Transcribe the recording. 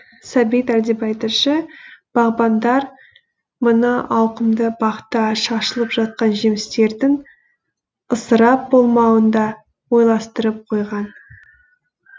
сәбит әлдебай тілші бағбандар мына ауқымды бақта шашылып жатқан жемістердің ысырап болмауын да ойластырып қойған